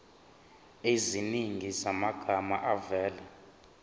eziningi zamagama avela